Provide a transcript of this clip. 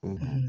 O